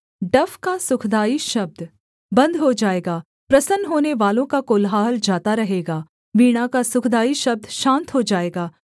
डफ का सुखदाई शब्द बन्द हो जाएगा प्रसन्न होनेवालों का कोलाहल जाता रहेगा वीणा का सुखदाई शब्द शान्त हो जाएगा